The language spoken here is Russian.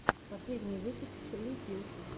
последний выпуск срилл пилл